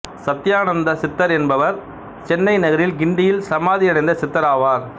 சத்யானந்தா சித்தர் என்பவர் சென்னை நகரில் கிண்டியில் சமாதியடைந்த சித்தராவார்